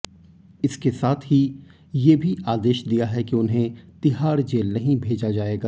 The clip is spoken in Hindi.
इसके साथ ही ये भी आदेश दिया है कि उन्हें तिहाड़ जेल नहीं भेजा जाएगा